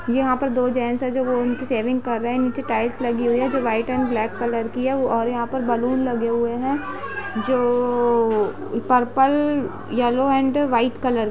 यहाँ पर दो जैंस है जो सेविंग कर रहे है नीचे टाईल्स लगी हुयी है जो वाईट और ब्लेक कलर की है और यहाँ पे बैलून लगे हुए है जो purple yellow and white colour के --